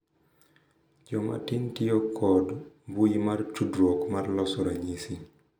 Jomatin tiyo kod mbui mar tudruok mar loso ranyisi